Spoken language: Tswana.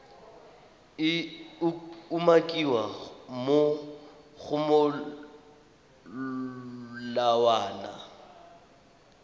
e umakiwang mo go molawana